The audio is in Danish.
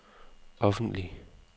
offentlig